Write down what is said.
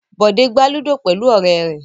Bọ̀dé gbá ludo pẹ̀lú ọ̀rẹ́ rẹ̀.